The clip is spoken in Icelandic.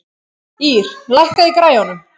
Ýr, lækkaðu í græjunum.